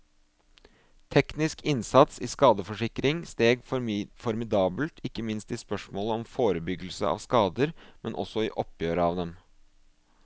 Teknisk innsats i skadeforsikring steg formidabelt ikke minst i spørsmålet om forebyggelse av skader, men også i oppgjøret av dem.